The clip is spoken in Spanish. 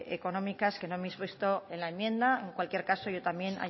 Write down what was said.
económicas que no hemos visto en la enmienda en cualquier caso yo también